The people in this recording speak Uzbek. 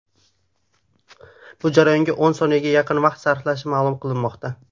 Bu jarayonga o‘n soniyaga yaqin vaqt sarflanishi ma’lum qilinmoqda.